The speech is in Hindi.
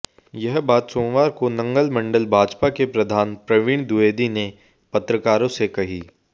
यह बात सोमवार को नंगल मंडल भाजपा के प्रधान प्रवीण द्विवेदी ने पत्रकारों से कही